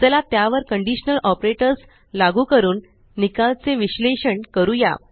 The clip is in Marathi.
चला त्यावर कंडीशनल ऑपरेटर्स लागू करून निकालचे विश्लेषण करूया